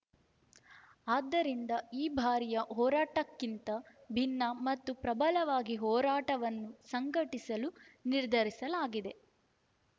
ಆದ್ದರಿಂದ ಈ ಬಾರಿಯ ಹೋರಾಟಕ್ಕಿಂತ ಭಿನ್ನ ಮತ್ತು ಪ್ರಬಲವಾಗಿ ಹೋರಾಟವನ್ನು ಸಂಘಟಿಸಲು ನಿರ್ಧರಿಸಲಾಗಿದೆ